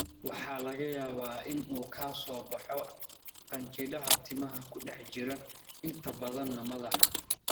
Waxaa laga yaabaa in uu ka soo baxo qanjidhada timaha ee ku dhex jira, inta badana madaxa.